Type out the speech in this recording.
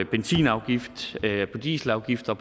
benzinafgifter dieselafgifter